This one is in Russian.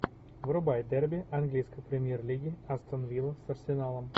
врубай дерби английской премьер лиги астон вилла с арсеналом